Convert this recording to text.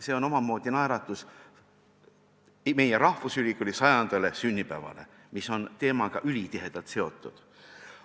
See on omamoodi naeratus meie rahvusülikooli sajandale sünnipäevale, mis on selle teemaga ülitihedalt seotud.